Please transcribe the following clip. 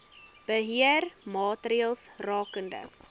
beheer maatreëls rakende